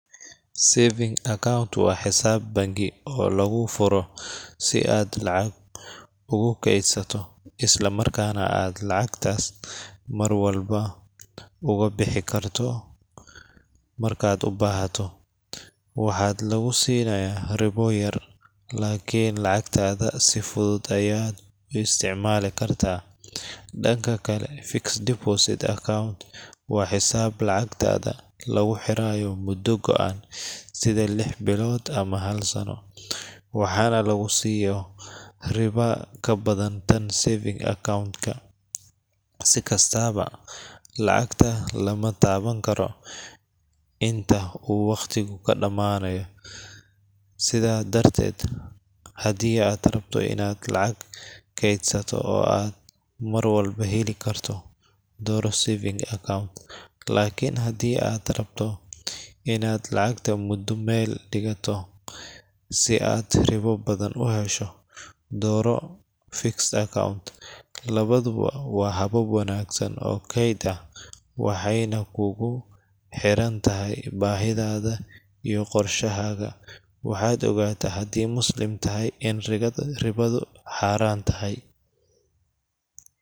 Saving account waa xisaab bangi oo lagu furo si aad lacag ugu keydsato, isla markaana aad lacagtaas mar walba uga bixi karto marka aad u baahato. Waxaa lagu sinaya ribo yar, laakiin lacagtaada si fudud ayaad u isticmaali kartaa. Dhanka kale, fixed deposit account waa xisaab lacagtaada lagu xirayo muddo go'an sida lix bilood ama hal sano, waxaana lagu siiyo ribo ka badan tan saving account ka. Si kastaba, lacagta lama taaban karo inta uu waqtigu ka dhammaanayo. Sidaas darteed, haddii aad rabto inaad lacag kaydsato oo aad mar walba heli karto – dooro saving account. Laakiin haddii aad rabto inaad lacagta muddo meel dhigato si aad ribo badan u hesho – dooro fixed account. Labaduba waa habab wanaagsan oo kayd ah, waxayna kugu xiran tahay baahidaada iyo qorshahaaga waxaad ogaataa hadii muslim tahay in ribadu xaraan tahay.